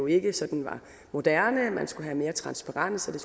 ikke sådan var moderne man skulle have mere transparens og